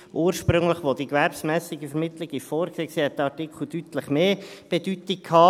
Ursprünglich, als die gewerbsmässige Vermittlung vorgesehen war, hatte dieser Artikel deutlich mehr Bedeutung.